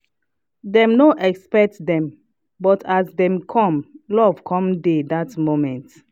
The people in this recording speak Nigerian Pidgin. dem no expect dem but as dem come love come dey dat moment.